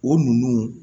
O ninnu